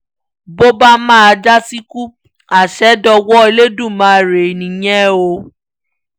bó bá máa síkù àṣẹ dọwọ́ olódùmarè nìyẹn o